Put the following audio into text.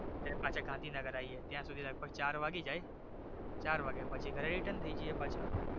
અને પાછા ગાંધીનગર આવીએ ત્યાંસુધી લગભગ ચાર વાગી જાય ચાર વાગે પછી ઘરે return જાયે પાછા.